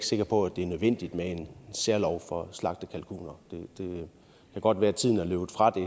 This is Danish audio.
sikker på at det er nødvendigt med en særlov for slagte kalkuner det kan godt være at tiden er løbet fra det